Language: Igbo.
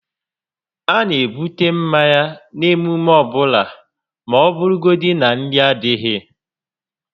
A na ebute mmanya n'emume ọbụla ma ọ bụrụgodi na nri adịghị